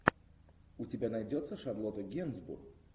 у тебя найдется шарлотта генсбур